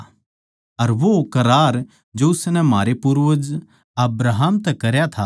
अर वो करार जो उसनै म्हारै पूर्वज अब्राहम तै करया था